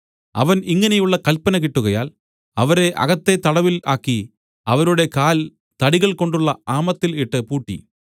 അവൻ ഇങ്ങനെയുള്ള കല്പന കിട്ടുകയാൽ അവരെ അകത്തെ തടവിൽ ആക്കി അവരുടെ കാൽ തടികൾകൊണ്ടുള്ള ആമത്തിൽ ഇട്ട് പൂട്ടി